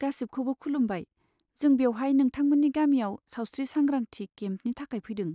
गासिबखौबो खुलुमबाय, जों बेवहाय नोंथांमोननि गामियाव सावस्रि सांग्रांथि केम्पनि थाखाय फैदों।